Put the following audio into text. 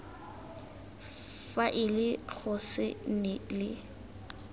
faele go se nne le